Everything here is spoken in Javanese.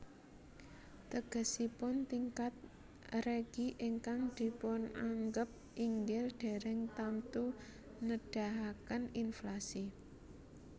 Tegesipun tingkat regi ingkang dipunanggep inggil dèrèng tamtu nedahaken inflasi